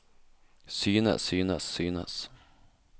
synes synes synes